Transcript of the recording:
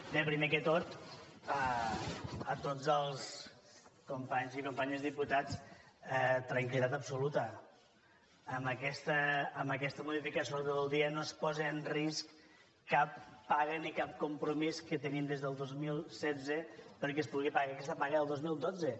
bé primer de tot a tots els companys i companyes diputats tranquil·litat absoluta amb aquesta modificació de l’ordre del dia no es pose en risc cap paga ni cap compromís que tenim des del dos mil setze perquè es pugui pagar aquesta paga del dos mil dotze